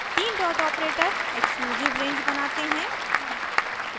तीन dot operator exclusive range बनाते हैं